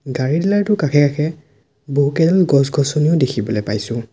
গাড়ী ডিলাৰ টোৰ কাষে কাষে বহুকেইডাল গছ গছনিও দেখিবলৈ পাইছোঁ।